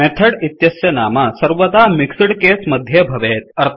method इत्यस्य नाम सर्वदा मिक्सड केस मध्ये भवेत्